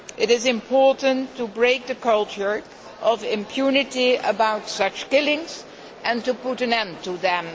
It is important to break the culture of impunity about such killings and to put an end to them.